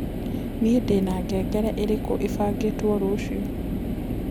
nii ndĩna ngengere irĩkuĩbangĩtwo rucĩũ